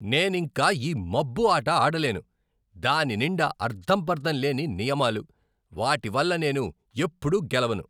నేనింక ఈ మబ్బు ఆట ఆడలేను. దాని నిండా అర్ధంపర్ధం లేని నియమాలు, వాటి వల్ల నేను ఎప్పుడూ గెలవను.